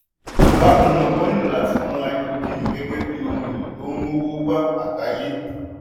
bákan náà wọ́n nílò láti mọ háídírójìn gẹ́gẹ́ bí ohun èlò tó n mówó wá àgbáyé.